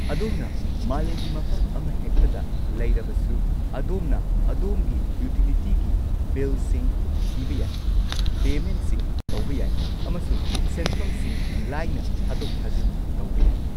ꯑꯗꯣꯝꯅ ꯃꯥꯂꯦꯝꯒꯤ ꯃꯐꯝ ꯑꯃꯍꯦꯛꯇꯗ ꯂꯩꯔꯕꯁꯨ, ꯑꯗꯣꯝꯅ ꯑꯗꯣꯝꯒꯤ ꯌꯨꯇꯤꯂꯤꯇꯤꯒꯤ ꯕꯤꯜꯁꯤꯡ ꯊꯤꯕ ꯌꯥꯏ, ꯄꯦꯃꯦꯟꯠꯁꯤꯡ ꯇꯧꯕ ꯌꯥꯏ, ꯑꯃꯁꯨꯡ ꯁꯦꯟꯐꯝꯁꯤꯡ ꯂꯥꯏꯅ ꯊꯥꯗꯣꯛ-ꯊꯥꯖꯤꯟ ꯇꯧꯕ ꯌꯥꯏ꯫